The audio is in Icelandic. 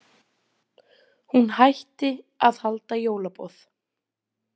Hún hætti að halda jólaboð.